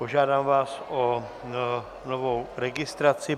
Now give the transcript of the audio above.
Požádám vás o novou registraci.